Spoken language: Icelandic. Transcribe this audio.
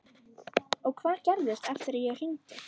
Og hvað gerðist eftir að ég hringdi?